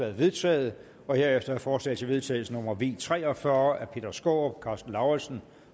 er vedtaget herefter er forslag til vedtagelse nummer v tre og fyrre af peter skaarup karsten lauritzen